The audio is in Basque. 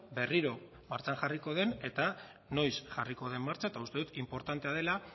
berriro martxan jarriko den eta noiz jarriko den martxan eta uste dut inportantea dela